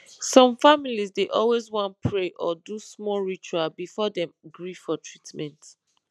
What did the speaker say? some families dey always wan pray or do small ritual before dem gree for treatment